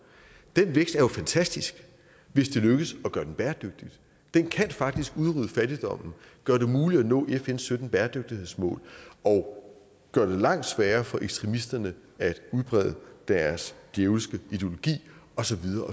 den vækst er jo fantastisk hvis det lykkes at gøre den bæredygtig den kan faktisk udrydde fattigdommen gøre det muligt at nå fns sytten bæredygtighedsmål og gøre det langt sværere for ekstremisterne at udbrede deres djævelske ideologi og så videre